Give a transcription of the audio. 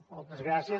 moltes gràcies